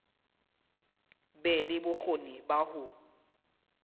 be le bokgoni ba ho